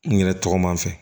N yɛrɛ tɔgɔma fɛ